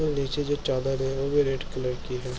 नीचे जो चादर है वो भी रेड कलर की है।